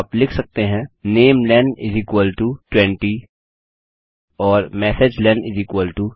आप लिख सकते हैं नमेलें 20 और मेसेजलेन 300